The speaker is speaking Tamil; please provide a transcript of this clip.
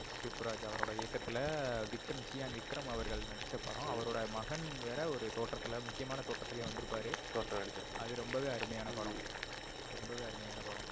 சுப்புராஜ் அவரோட இயக்கத்துல விக்ரம் சியான் விக்ரம் அவர்கள் நடிச்ச படம். அவரோட மகன் வேற ஒரு தோற்றத்துல முக்கியமான தோற்றத்துல வந்து இருப்பாரு. தோற்றம் இருக்கும். அது ரொம்பவே அருமையான படம். ரொம்பவே அருமையான படம்.